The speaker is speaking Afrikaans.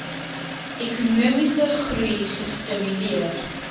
ekonomiese groei gestimuleer